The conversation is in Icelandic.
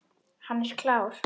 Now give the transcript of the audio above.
Hann er klár.